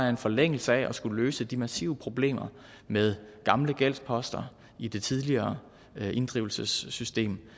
i forlængelse af at skulle løse de massive problemer med gamle gældsposter i det tidligere inddrivelsessystem